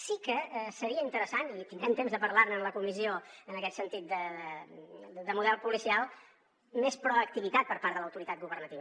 sí que seria interessant i tindrem temps de parlar ne en la comissió en aquest sentit de model policial més proactivitat per part de l’autoritat governativa